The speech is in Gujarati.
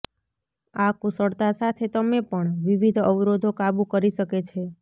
આ કુશળતા સાથે તમે પણ વિવિધ અવરોધો કાબુ કરી શકે છે